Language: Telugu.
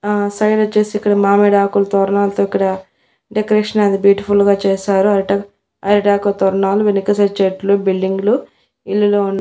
ఆ సైడొచ్చేసి ఇక్కడ మామిడాకుల తోరణాలతో ఇక్కడ డెకరేషన్ అది బ్యూటిఫుల్ గా చేశారు అరిటం అరిటాకుల తోరణాలు వెనక సైడ్ చెట్లు బిల్డింగ్లు ఇల్లులు ఉన్--